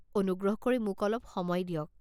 অনুগ্ৰহ কৰি মোক অলপ সময় দিয়ক।